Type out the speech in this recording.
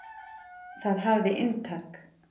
Það hafði inntak.